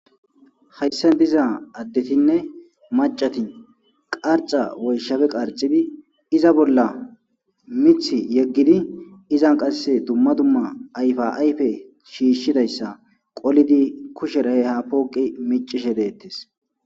hayssan diza addetinne macatin qarca woyshafe qarxibi iza bolla mith yeggidi izan qasse dumma dumma ayfa ayfe shiishshidayssa qolidi kusherahe ha pooqi micishe deettes